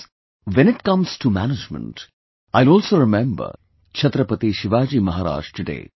Friends, when it comes to management, I will also remember Chhatrapati Shivaji Maharaj today